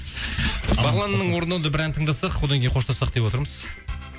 бағланның орындауында бір ән тыңдасақ одан кейін қоштассақ деп отырмыз